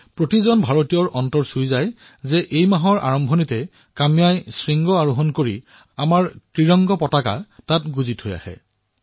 প্ৰতিজন ভাৰতীয়ৰে হৃদয় গৰ্বেৰে উফণ্ডি পৰিছে যেতিয়া এই মাহৰ আৰম্ভণিতে কাম্যাই এই সফলতা লাভ কৰিছে আৰু তাত আমাৰ ত্ৰিৰংগা উৰুৱাইছে